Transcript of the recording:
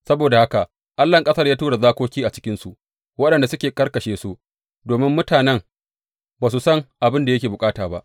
Saboda haka allahn ƙasar ya tura zakoki a cikinsu, waɗanda suke karkashe su, domin mutanen ba su san abin da yake bukata ba.